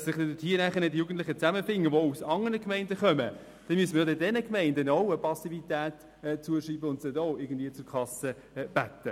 Da sich die Jugendlichen, die aus anderen Gemeinden kommen, hier zusammenfinden, müsste man diesen Gemeinden auch Passivität zuschreiben und sie irgendwie zur Kasse bitten.